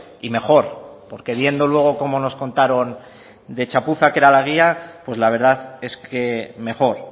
y mejor porque viendo luego cómo nos contaron de chapuza que era la guía pues la verdad es que mejor